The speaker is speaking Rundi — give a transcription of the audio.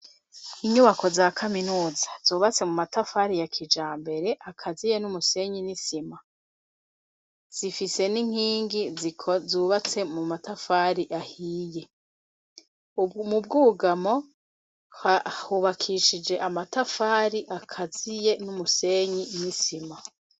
Inyubako za kaminuza zubatse mu matafari ya kijambere akaziye n'umusenyi n'isima, zifise n'inkingi zubatse mu matafari ahiye. Mu bwugamo hubakishije amatafari akaziye n'umusenyi n'isima.